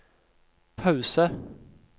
pause